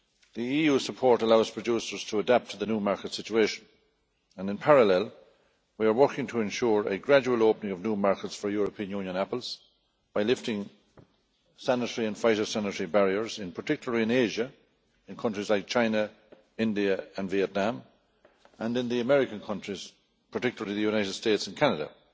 The EU support allows producers to adapt to the new market situation and, in parallel, we are working to ensure a gradual opening of new markets for European Union apples by lifting sanitary and phytosanitary barriers, particularly in Asia, in countries like China, India and Vietnam, and in the American countries, particularly the United States and Canada.